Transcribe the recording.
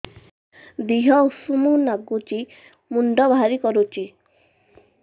ଦିହ ଉଷୁମ ନାଗୁଚି ମୁଣ୍ଡ ଭାରି କରୁଚି